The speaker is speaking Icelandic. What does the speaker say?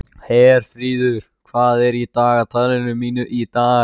Herfríður, hvað er í dagatalinu mínu í dag?